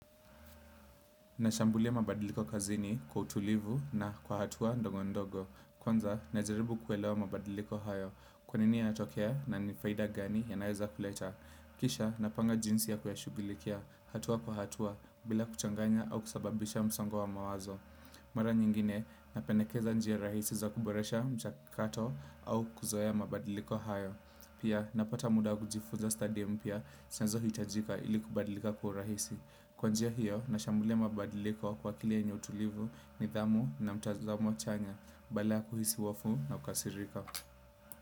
Nashambulia mabadiliko kazini kwa utulivu na kwa hatua ndongo ndogo. Kwanza, najaribu kuelewa mabadiliko hayo. Kwa nini yanatokea na nifaida gani yanaweza kuleta. Kisha, napanga jinsi ya kuyashugilikia hatua kwa hatua bila kuchanganya au kusababisha msongo wa mawazo. Mara nyingine, napendekeza njia rahisi za kuboresha mchakato au kuzoea mabadiliko hayo. Pia, napata muda wa kujifuza study mpya, sazo hitajika ili kubadilika kwa urahisi. Kwa njia hiyo na shambulia mabadiliko kwa akili yenye utulivu nidhamu na mtazamo chanya badala kuhisi hofu na kukasirika.